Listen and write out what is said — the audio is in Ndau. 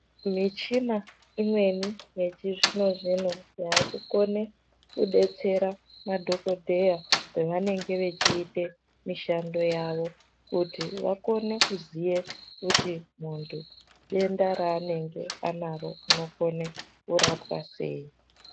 Michina imweni yechizvino-zvino yakukone kubetsera madhogodheya pavanenge vechite mishando yavo. Kuti vakone kuziye kuti muntu denda raanenge anaro rinokone kurapwa sei